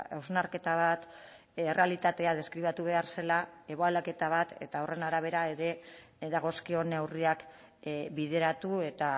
hausnarketa bat errealitatea deskribatu behar zela ebaluaketa bat eta horren arabera ere dagozkion neurriak bideratu eta